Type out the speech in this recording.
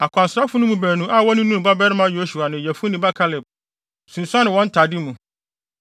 Akwansrafo no mu baanu, a wɔne Nun babarima Yosua ne Yefune babarima Kaleb sunsuan wɔn ntade mu